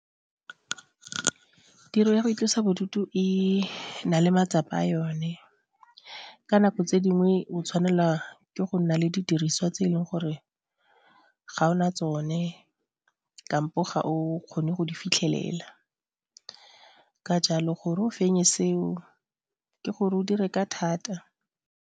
Ke tiro ya go itlosa bodutu, e na le matsapa a yone ka nako tse dingwe o tshwanela ke go nna le didiriswa tse e leng gore ga o na tsone kampo ga o kgone go di fitlhelela ka jalo gore o fenye seo ke gore o dire ka thata.